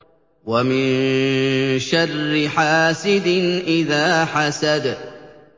وَمِن شَرِّ حَاسِدٍ إِذَا حَسَدَ